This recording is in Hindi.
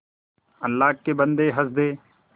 अल्लाह के बन्दे हंस दे